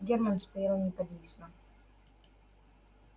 германн стоял неподвижно